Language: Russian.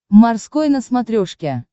морской на смотрешке